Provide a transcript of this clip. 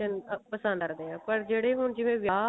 and ਆ ਪਸੰਦ ਆਉਂਦੇ ਨੇ ਪਰ ਜਿਹੜੇ ਹੁਣ ਜਿਵੇਂ ਵਿਆਹ